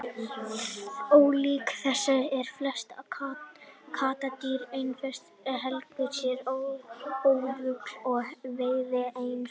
ólíkt þessu eru flest kattardýr einfarar sem helga sér óðöl og veiða einsömul